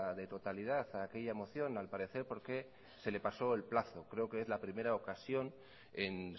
de totalidad a aquella moción al parecer porque se le pasó el plazo creo que es la primera ocasión en